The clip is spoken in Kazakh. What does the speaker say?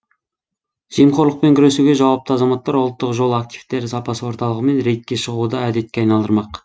жемқорлықпен күресуге жауапты азаматтар ұлттық жол активтері сапасы орталығымен рейдке шығуды әдетке айналдырмақ